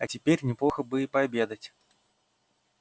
а теперь неплохо бы и пообедать